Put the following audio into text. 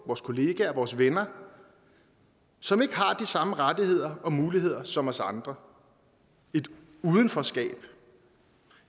vores kolleger vores venner som ikke har de samme rettigheder og muligheder som os andre et udenforskab